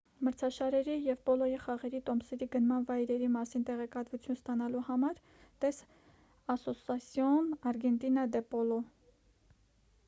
մրցաշարերի և պոլոյի խաղերի տոմսերի գնման վայրերի մասին տեղեկատվություն ստանալու համար տես ասոսասիոն արգենտինա դե պոլո